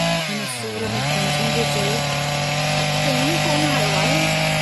हिन सूर में कींझंदे चयो, टेऊं कोन आयो आहे।